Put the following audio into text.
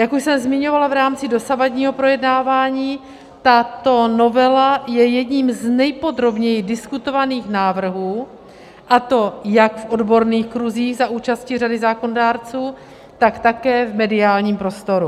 Jak už jsem zmiňovala v rámci dosavadního projednávání, tato novela je jedním z nejpodrobněji diskutovaných návrhů, a to jak v odborných kruzích za účasti řady zákonodárců, tak také v mediálním prostoru.